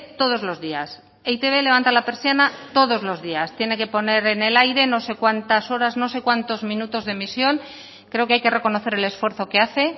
todos los días e i te be levanta la persiana todos los días tiene que poner en el aire no sé cuántas horas no sé cuantos minutos de emisión creo que hay que reconocer el esfuerzo que hace